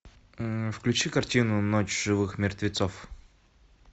включи картину ночь живых мертвецов